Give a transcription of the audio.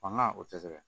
Fanga o tɛ sɛgɛn